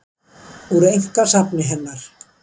Úr einkasafni hennar.